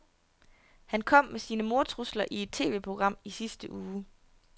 Han kom med sine mordtrusler i et TVprogram i sidste uge.